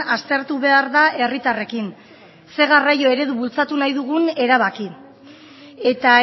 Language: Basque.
aztertu behar da herritarrekin zein garraio eredu bultzatu nahi dugun erabaki eta